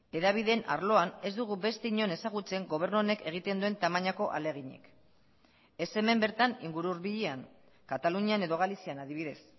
hedabideen arloan ez dugu beste inon ezagutzen gobernu honek egiten duen tamainako ahaleginik ez hemen bertan inguru hurbilean katalunian edo galizian adibidez